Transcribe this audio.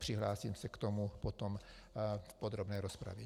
Přihlásím se k tomu potom v podrobné rozpravě.